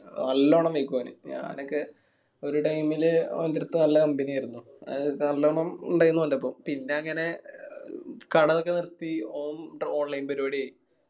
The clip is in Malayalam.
ആ നല്ലോണം മേയിക്കും ഓന്. ഞാനൊക്കെ ഒരു time ല് ഓന്റട്ത് നല്ല company ആയിരുന്ന്. അത് നല്ലോണം ഇണ്ടായിൻ ഓന്റെ ഒപ്പം. പിന്നെ അങ്ങനെ ഏർ കട ഒക്കെ നിർത്തി ഓൻ online പരുപാടി ആയി.